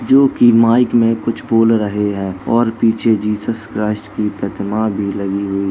जोकि माइक में कुछ बोल रहे हैं और पीछे जीजस क्राइस्ट की प्रतिमा भी लगी हुई।